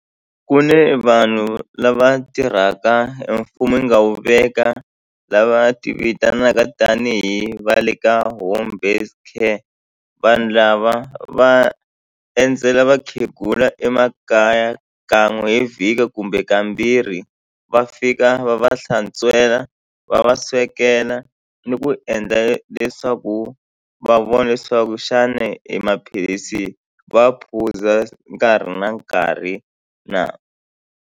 Ku ne vanhu lava tirhaka e mfumo yi nga wu veka lava ti vitanaka tanihi va le ka home based care vanhu lava va endzela vakhegula emakaya kan'we hi vhiki kumbe kambirhi va fika va va hlantswela va va swekela ni ku endla leswaku va vona leswaku xana e maphilisi wa phuza nkarhi na nkarhi na.